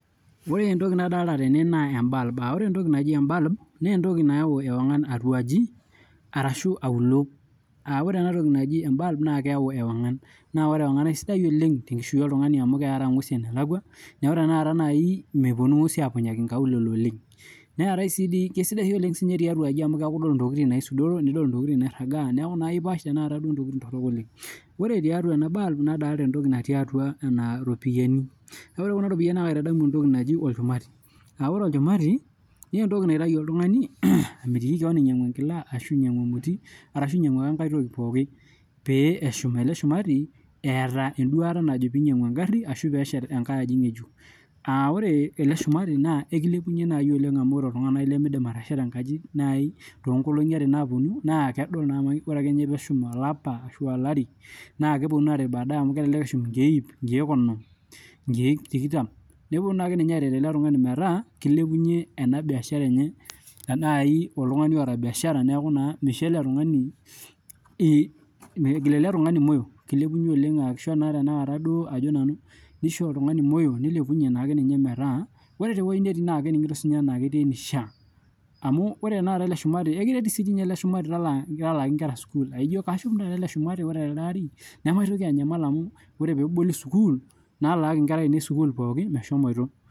ore entoki nadoolta tene naa embulb ore ninye naa naa keyau ewongan atuaji ashuu auluo kisidai amuu kiaraa nguesin enelakua neeku mitoki aanyikaki nkaulele naa kisidai sii doi tiatuaji amuu keeku idol intokiting nairagaa. Ore tiatua ena bulb naa kadoolta iropiani naa kaitadamu entoki naji olchumati naa ore olchumati naa iropiani nipik nitmitiki kewon inyangunyie enkila ashu ae toki ake piishum nena ropiani aa taa iyata enduata ninyangu enkae gari ashu oiishet enkae aji. Ore ele shumati ekilepunye amuu ore naaji oltunganilimidim atesheta enkaji toonkolongi are naaponu naa kidim atesheta amu ore ake peeshum olapa ashu waare naa kidimu inakata. kisaidia sii ailepunye biashara enye toltungani oota. Ekiret sii doi siininye ele shumati talaa isilen oropiani oonnkera e sukuul